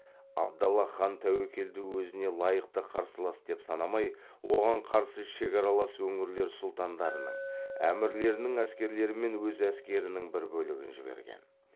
абдаллах хан тәуекелді өзіне лайықты қарсылас деп санамай оған қарсы шекаралас өңірлер сұлтандарының әмірлерінің әскерлері мен өз әскерінің бір бөлігін жіберген